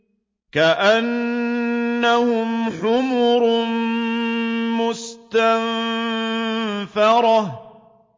كَأَنَّهُمْ حُمُرٌ مُّسْتَنفِرَةٌ